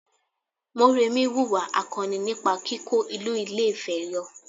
Mọ́remí wùwà akọni nípa kíkó ìlú Ilé-Ifẹ̀ yọ